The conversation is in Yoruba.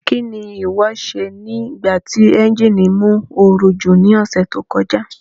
Kí ni ìwọ ṣe nígbà ti ẹ́ńjíìnì mú ooru jù ní ọ̀sẹ̀ tó kọjá?